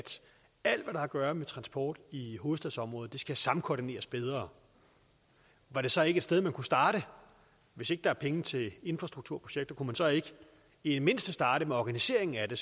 alt hvad der har at gøre med transport i hovedstadsområdet skal samkoordineres bedre var det så ikke et sted man kunne starte hvis ikke der er penge til infrastrukturprojekter kunne man så ikke i det mindste starte med organiseringen af det